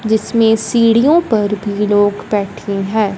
जिसमें सीढ़ियों पर भी लोग बैठे हैं।